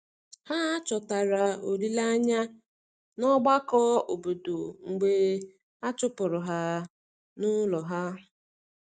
Ha chọtara olileanya n’ọgbakọ obodo mgbe a chụpụrụ ha n’ụlọ ha.